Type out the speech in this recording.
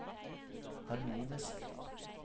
harmonisk